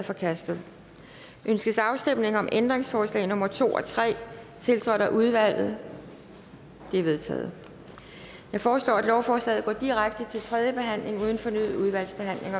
forkastet ønskes afstemning om ændringsforslag nummer to og tre tiltrådt af udvalget de er vedtaget jeg foreslår at lovforslaget går direkte til tredje behandling uden fornyet udvalgsbehandling